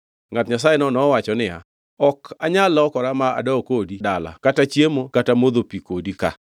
Ngʼat Nyasayeno nowacho niya, “Ok anyal lokora ma adog kodi dala kata chiemo kata modho pi kodi ka.